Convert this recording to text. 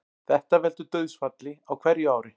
Þetta veldur dauðsfalli á hverju ári